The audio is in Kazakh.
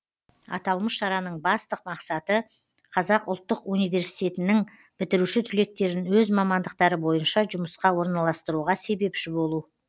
аталмыш шараның басты мақсаты қазұу дың бітіруші түлектерін өз мамандықтары бойынша жұмысқа орналастыруға себепші болу